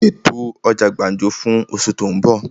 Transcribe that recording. Ṣètò ọjà gbàǹjo fún osù tó ń bọ̀!